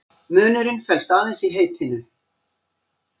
Munurinn felst aðeins í heitinu.